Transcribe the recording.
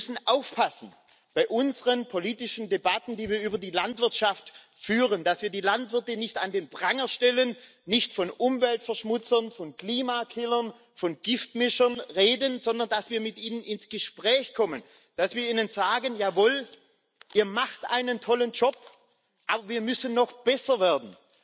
Wir müssen aufpassen bei unseren politischen Debatten, die wir über die Landwirtschaft führen, dass wir die Landwirte nicht an den Pranger stellen, nicht von Umweltverschmutzern, von Klimakillern, von Giftmischern reden, sondern dass wir mit ihnen ins Gespräch kommen, dass wir ihnen sagen Jawohl, Ihr macht einen tollen Job, aber wir müssen noch besser werden.